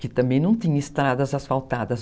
Que também não tinha estradas asfaltadas.